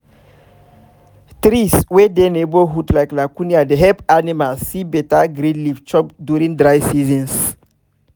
trees wey dey neighborhood like leucaena dey help animals see better green leave chop during dry seasons